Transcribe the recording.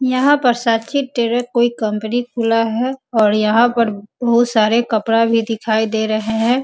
यहाँ पर साथी कंपनी खुला है और यहाँ पर बहुत सारे कपड़ा भी दिखाई दे रहे हैं।